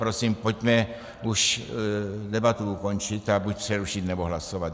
Prosím, pojďme už debatu ukončit a buď přerušit, nebo hlasovat.